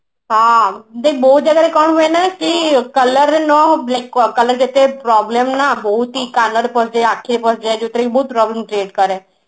ହଁ ଦେଖ ବହୁତ ଜାଗାରେ କଣ ହୁଏ କି color ରେ no color ଯେତେ problem ନା ହଉଛି କାନରେ ପସିଯାଏ ଆଖିରେ ପଶିଯାଏ ଯୋଉଥିରେ କି ବହୁତ problem create କରେ